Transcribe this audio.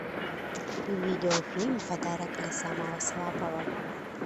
видеофильм подарок для самого слабого